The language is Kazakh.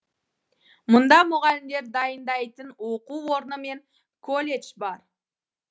мұнда мұғалімдер дайындайтын оқу орны мен колледж бар